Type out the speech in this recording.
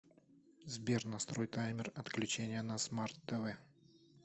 сбер настрой таймер отключения на смарт тв